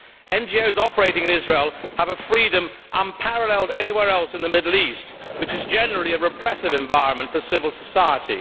NGOs operating in Israel have a freedom unparalleled anywhere else in the Middle East, which is generally a repressive environment for civil society.